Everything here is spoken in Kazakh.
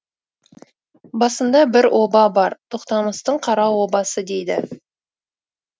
басында бір оба бар тоқтамыстың қара обасы дейді